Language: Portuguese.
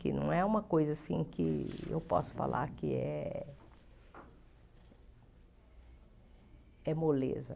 Que não é uma coisa, assim, que eu posso falar que é é moleza.